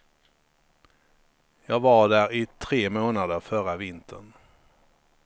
Jag var där i tre månader förra vintern.